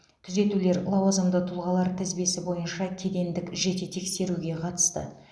түзетулер лауазымды тұлғалар тізбесі бойынша кедендік жете тексеруге қатысты